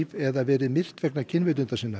eða verið myrt vegna kynvitundar sinnar